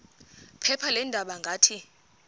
phepha leendaba ngathi